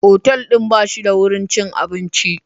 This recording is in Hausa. Otal ɗin ba shi da wurin cin abinci.